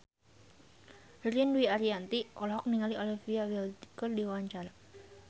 Ririn Dwi Ariyanti olohok ningali Olivia Wilde keur diwawancara